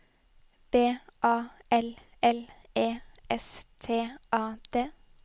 B A L L E S T A D